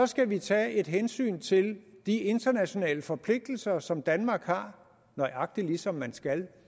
skal vi tage hensyn til de internationale forpligtelser som danmark har nøjagtig som man skal